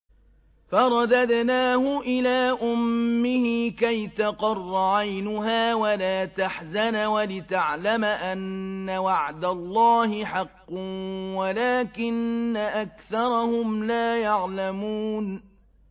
فَرَدَدْنَاهُ إِلَىٰ أُمِّهِ كَيْ تَقَرَّ عَيْنُهَا وَلَا تَحْزَنَ وَلِتَعْلَمَ أَنَّ وَعْدَ اللَّهِ حَقٌّ وَلَٰكِنَّ أَكْثَرَهُمْ لَا يَعْلَمُونَ